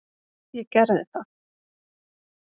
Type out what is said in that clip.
Ég gerði það.